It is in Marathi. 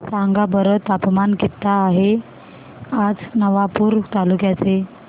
सांगा बरं तापमान किता आहे आज नवापूर तालुक्याचे